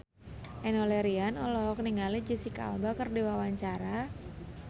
Enno Lerian olohok ningali Jesicca Alba keur diwawancara